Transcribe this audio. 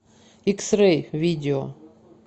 икс рэй видео